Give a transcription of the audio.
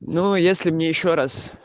ну если мне ещё раз